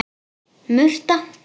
Murta